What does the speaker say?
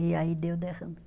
E aí deu derrame.